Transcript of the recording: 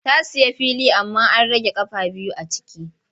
Ta sayi fili amma an rage ƙafa biyu a ciki.